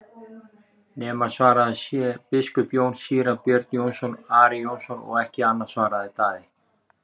nema svarað sé:-Biskup Jón, Síra Björn Jónsson og Ari Jónsson og ekki annað, svaraði Daði.